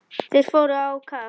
Þeir fóru á kaf.